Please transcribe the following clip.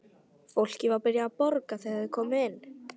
Fólkið var byrjað að borða þegar þeir komu inn.